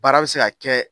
Baara bɛ se ka kɛ